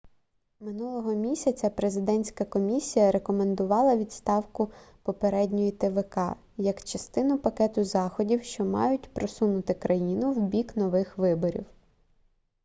минулого місяця президентська комісія рекомендувала відставку попередньої твк як частину пакету заходів що мають просунути країну в бік нових виборів